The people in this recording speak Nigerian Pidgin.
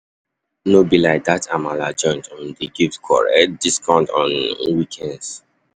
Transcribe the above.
No be lie, dat amala joint um dey give correct discount on um weekends.